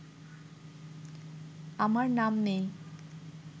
আমার নাম নেই